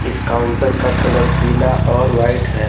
इस काउंटर का कलर पीला और वाइट है।